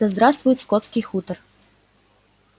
да здравствует скотский хутор